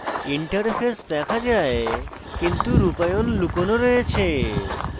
interface দেখা যায় কিন্তু রূপায়ণ লুকোনো রয়েছে